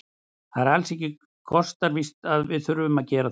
Það er ekki alls kostar víst að við þurfum að gera það.